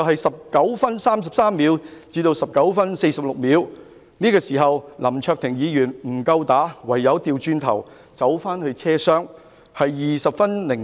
19分33秒至19分46秒，林議員與白衣人打鬥，但林議員不敵對手，唯有掉頭返回車廂，時間是20分02秒。